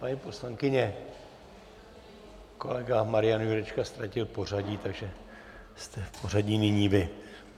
Paní poslankyně , kolega Marian Jurečka ztratil pořadí, takže jste v pořadí nyní vy.